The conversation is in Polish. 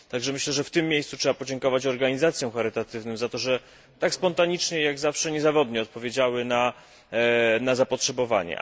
Myślę, że w tym miejscu trzeba podziękować organizacjom charytatywnym za to, że tak spontanicznie i jak zawsze niezawodnie odpowiedziały na zapotrzebowanie.